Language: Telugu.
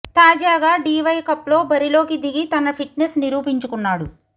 తాజాగా డీవై కప్లో బరిలోకి దిగి తన ఫిట్నెస్ నిరూపించుకున్నాడు